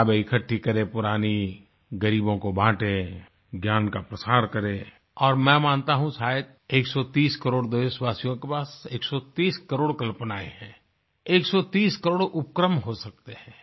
किताबें इकट्ठी करें पुरानी ग़रीबों को बांटें ज्ञान का प्रसार करें और मैं मानता हूँ शायद 130 करोड़ देशवासियों के पास 130 करोड़ कल्पनायें हैं 130 करोड़ उपक्रम हो सकते हैं